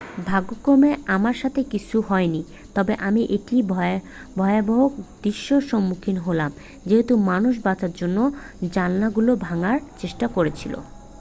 """ভাগ্যক্রমে আমার সাথে কিছুই হয়নি তবে আমি একটি ভয়াবহ দৃশ্যের সম্মুখীন হলাম যেহেতু মানুষ বাঁচার জন্য জানলাগুলো ভাঙার চেষ্টা করছিল।